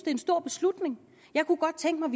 en stor beslutning jeg kunne godt tænke mig